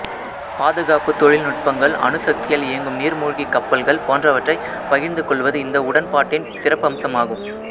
பாதுகாப்புத் தொழில்நுட்பங்கள் அணுசக்தியால் இயங்கும் நீர்மூழ்கி கப்பல்கள் போன்றவற்றைப் பகிர்ந்து கொள்வது இந்த உடன்பாட்டின் சிறப்பம்சம் ஆகும்